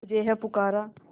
तुझे है पुकारा